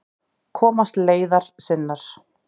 Komast leiðar sinnar.